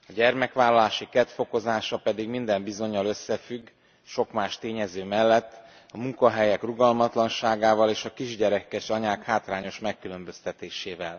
A gyermekvállalási kedv fokozása pedig minden bizonnyal összefügg sok más tényező mellett a munkahelyek rugalmatlanságával és a kisgyerekes anyák hátrányos megkülönböztetésével.